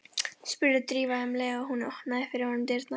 spurði Drífa um leið og hún opnaði fyrir honum dyrnar.